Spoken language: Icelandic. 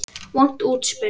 Vont útspil.